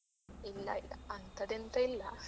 ಇಲ್ಲ ಇಲ್ಲ ಅಂತದೆಂತ ಇಲ್ಲ.